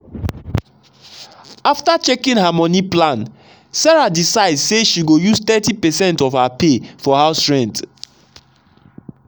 after checking her money plan sarah decide say she go use thirty percent of her pay for house rent.